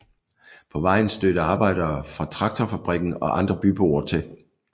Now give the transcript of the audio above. På vejen stødte arbejdere fra traktorfabrikken og andre byboer til